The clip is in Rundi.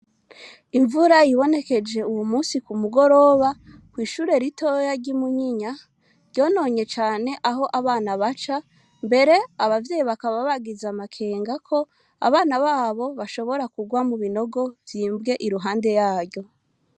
Imvura yibonekeje uwu munsi ku mugoroba, kw'ishure ritoya ryi Munyinya, ryononye cane aho abana baca , mbere abavyeyi bakaba bagize amakenga ko ,abana b'abo bashobora kurwa mu binogo vyimbwe iruhande y'aryo.